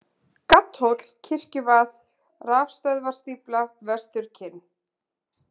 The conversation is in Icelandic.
Gaddhóll, Kirkjuvað, Rafstöðvarstífla, Vesturkinn